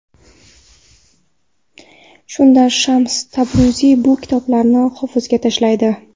Shunda Shams Tabriziy bu kitoblarni hovuzga tashlaydi.